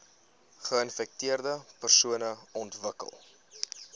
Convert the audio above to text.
geinfekteerde persone ontwikkel